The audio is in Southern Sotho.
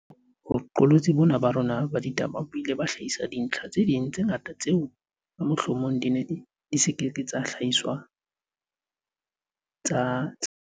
Boqolotsi bona ba rona ba ditaba bo ile ba hlahisa dintlha tse ding tse ngata tseo ka mohlomong di neng di ke ke tsa hlahiswa tsa tsebahala.